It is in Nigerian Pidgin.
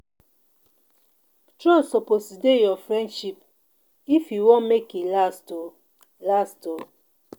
Trust suppose dey your friendship if you wan make e last oo last oo.